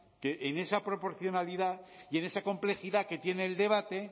que en esa proporcionalidad y en esa complejidad que tiene el debate